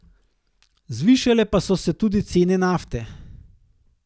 Zvišale pa so se tudi cene nafte.